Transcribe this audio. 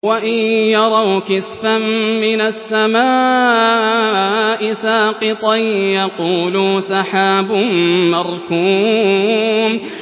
وَإِن يَرَوْا كِسْفًا مِّنَ السَّمَاءِ سَاقِطًا يَقُولُوا سَحَابٌ مَّرْكُومٌ